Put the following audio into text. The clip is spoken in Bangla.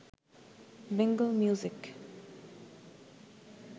বেঙ্গল মিউজিক